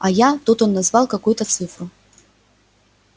а я тут он назвал какую-то цифру